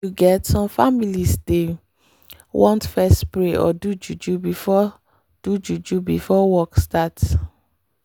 you get some families dey want fess pray or do juju before do juju before work start